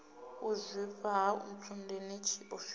u zwifha ha ntsundeni tshiofhiso